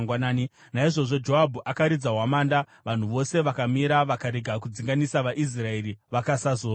Naizvozvo Joabhu akaridza hwamanda, vanhu vose vakamira; vakarega kudzinganisa vaIsraeri, vakasazorwazve.